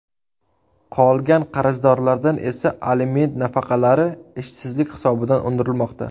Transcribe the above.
Qolgan qarzdorlardan esa aliment nafaqalari ishsizlik hisobidan undirilmoqda.